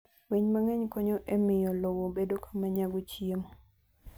Winy mang'eny konyo e miyo lowo bedo kama nyago chiemo.